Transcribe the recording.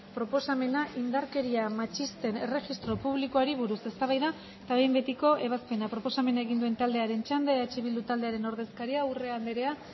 proposamena indarkeria matxisten erregistro publikoari buruz eztabaida eta behin betiko ebazpena proposamena egin duen taldearen txanda eh bildu taldearen ordezkaria urrea andrea